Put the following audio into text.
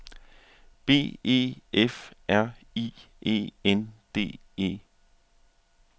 B E F R I E N D E